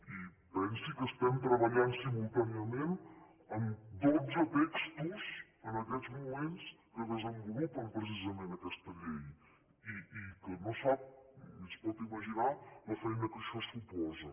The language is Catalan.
i pensi que estem treballant simultàniament en dotze textos en aquests moments que desenvolupen precisament aquesta llei i que no sap ni es pot imaginar la feina que això suposa